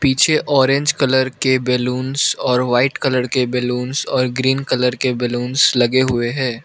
पीछे orange colour के balloons और वाइट कलर के बैलूंस और ग्रीन कलर के बैलूंस लगे हुए हैं।